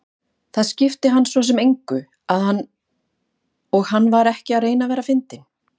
Það skipti hann svo sem engu og hann var ekki að reyna að vera fyndinn.